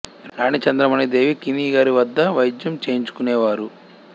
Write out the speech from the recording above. రాణి చంద్రమణి దేవి కిని గారి వద్ద వైద్యం చేయించుకునే వారు